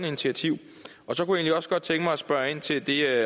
initiativ så kunne jeg egentlig også godt tænke mig at spørge ind til det